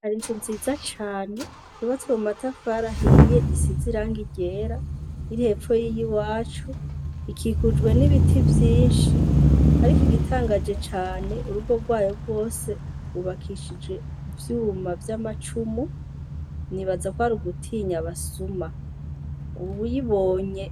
Hari inzu nziza cane ibatswe mu matafarahiye isiza irange irera irhepfo yiye i wacu ikikujwe n'ibiti vyinshi, ariko igitangaje cane urugo rwayo bwose gubakishije ivyuma vy'amacumu nibaza kw ari ugutinya basuma uwibonye